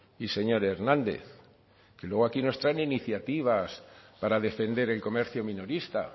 y señor hernández que luego aquí nos traen iniciativas para defender el comercio minorista